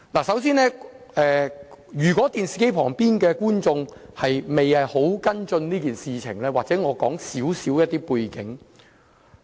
首先，如果電視機旁的觀眾未有跟進這件事，或許我先簡述一下背景。